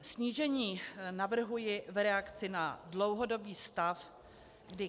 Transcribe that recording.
Snížení navrhuji v reakci na dlouhodobý stav, kdy